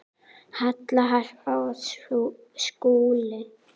Halla, Harpa og Skúli.